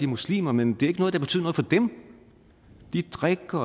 muslimer men det er ikke noget der betyder noget for dem de drikker